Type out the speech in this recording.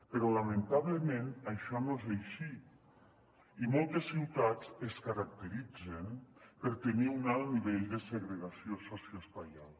però lamentablement això no és així i moltes ciutats es caracteritzen per tenir un alt nivell de segregació socioespacial